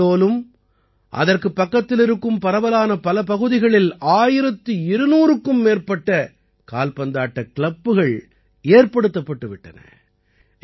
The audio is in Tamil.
ஷஹ்டோலும் அதற்குப் பக்கத்தில் இருக்கும் பரவலான பல பகுதிகளில் 1200க்கும் மேற்பட்ட கால்பந்தாட்ட கிளப்புகள் ஏற்படுத்தப்பட்டு விட்டன